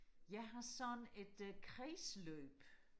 jeg har sådan et kredsløb